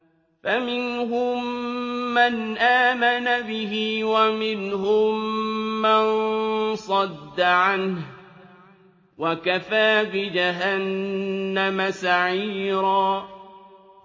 فَمِنْهُم مَّنْ آمَنَ بِهِ وَمِنْهُم مَّن صَدَّ عَنْهُ ۚ وَكَفَىٰ بِجَهَنَّمَ سَعِيرًا